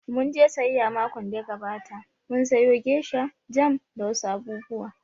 Mun je sayayya makon da ya gabata, mun sayo gesha, jam da wa su abubuwa